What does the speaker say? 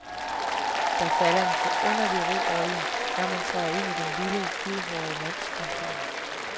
Der falder en forunderlig ro over en, når man træder ind i den lille, hvidhårede mands kontor.